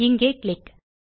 இங்கே கிளிக்